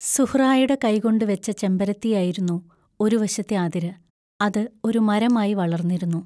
സുഹ്റായുടെ കൈകൊണ്ടു വെച്ച ചെമ്പരത്തിയായിരുന്നു ഒരു വശത്തെ അതിര് അത് ഒരു മരമായി വളർന്നിരുന്നു.